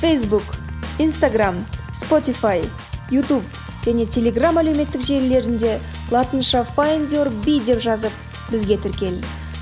фейсбук инстаграмм спотифай ютуб және телеграм әлеуметтік желілерінде латынша файндюрби деп жазып бізге тіркел